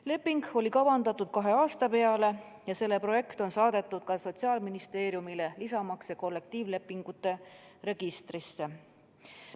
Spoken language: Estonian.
Leping oli kavandatud kahe aasta peale ja selle projekt on saadetud ka Sotsiaalministeeriumile, lisamaks see kollektiivlepingute registrisse.